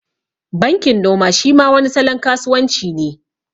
Bankin noma shi ma wani salon kasuwan ci ne